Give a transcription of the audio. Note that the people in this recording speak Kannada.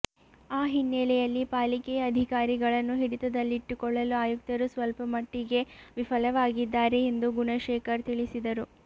ಆ ಹಿನ್ನೆಲೆಯಲ್ಲಿ ಪಾಲಿಕೆಯ ಅಧಿಕಾರಿಗಳನ್ನು ಹಿಡಿತದಲ್ಲಿಟ್ಟುಕೊಳ್ಳಲು ಆಯುಕ್ತರು ಸ್ವಲ್ಪಮಟ್ಟಿಗೆ ವಿಫಲವಾಗಿದ್ದಾರೆ ಎಂದು ಗುಣಶೇಖರ್ ತಿಳಿಸಿದರು